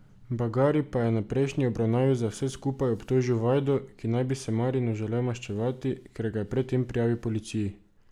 Bagari pa je na prejšnji obravnavi za vse skupaj obtožil Vajdo, ki naj bi se Marinu želel maščevati, ker ga je pred tem prijavil policiji.